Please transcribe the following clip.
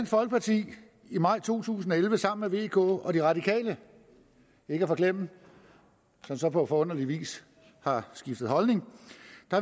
folkeparti i maj to tusind og elleve sammen med vk og de radikale ikke at forglemme som så på forunderlig vis har skiftet holdning